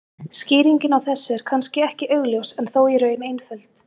Skýringin á þessu er kannski ekki augljós en þó í raun einföld.